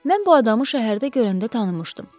Mən bu adamı şəhərdə görəndə tanımışdım.